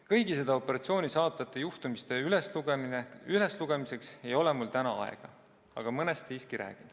Kõigi seda operatsiooni saatnud juhtumiste üleslugemiseks ei ole mul täna aega, aga mõnest siiski räägin.